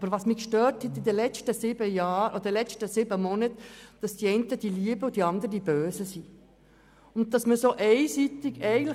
Aber während den vergangenen sieben Monaten hat mich gestört, dass die einen die Guten und die anderen die Bösen sind.